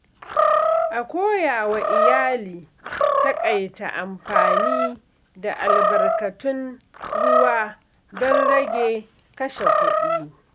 A koyawa iyali taƙaita amfani da albarkatun ruwa don rage kashe kuɗi.